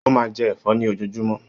Ó máa ń jẹ ẹ̀fọ́ ní ojoojúmọ́.